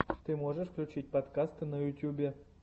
ты можешь включить подкасты на ютюбе